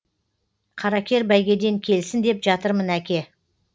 қаракер бәйгеден келсін деп жатырмын әке